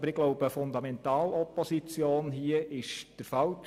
Aber ich glaube, dass eine Fundamentalopposition der falsche Weg ist.